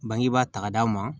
Bangebaa ta ka d'a ma